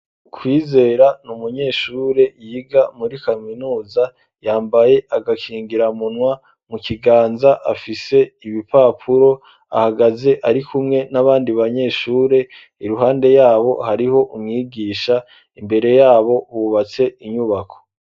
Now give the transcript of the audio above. Kwizera n'umunyeshure yiga muri kaminuza yambaye agakingira munwa mu kiganza afise ibipapuro ahagaze ari kumwe n'abandi banyeshure iruhande yabo hariho umwigisha imbere yabo hubatse inyubako.